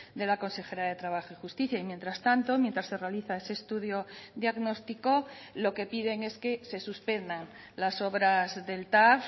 de la consejera de trabajo y justicia y mientras tanto mientras se realiza ese estudio diagnóstico lo que piden es que se suspendan las obras del tav